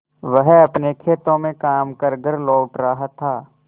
वह अपने खेतों में काम कर घर लौट रहा था